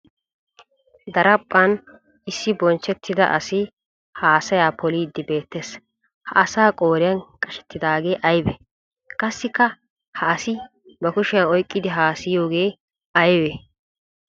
Daraphphan issi bonchchettida asi haasaya poliidi beetees ha asaa qooriyan qashshetidaage aybe? Qassikka ha asi ba kushiyan oyqqiddi haasahiyooge aybe?